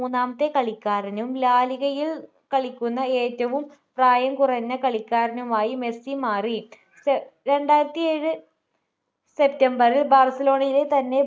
മൂന്നാമത്തെ കളിക്കാരനും ലാ ലിഗയിൽ കളിക്കുന്ന ഏറ്റവും പ്രായം കുറഞ്ഞ കളിക്കാരനുമായി മെസ്സി മാറി സ് രണ്ടായിരത്തിഏഴ് september ൽ ബാർസലോണയിലെ തന്നെ